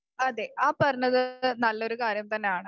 അതേ ആ പറഞ്ഞത് നല്ല ഒരു കാര്യം തന്നെ ആണ്.